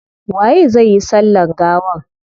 Waye zai yi sallan gawan?